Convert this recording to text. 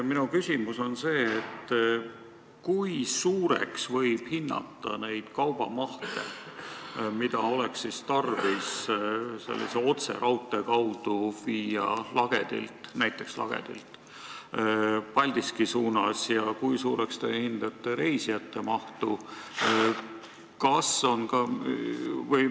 Minu küsimus on selline: kui suureks võib hinnata neid kaubamahte, mida oleks tarvis vedada mööda sellist otseraudteed näiteks Lagedilt Paldiskisse, ja kui suur võiks olla reisijateveo maht?